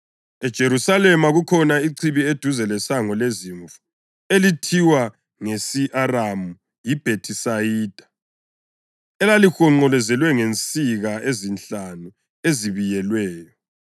EJerusalema kukhona ichibi eduze lesango leZimvu, elithiwa ngesi-Aramu yiBhethisayida, elalihonqolozelwe ngensika ezinhlanu ezibiyelweyo.